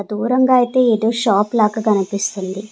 దూరంగా అయితే ఏదో షాప్ లాక్క కనిపిస్తుంది.